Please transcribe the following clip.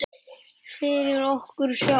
Fyrir okkur sjálf.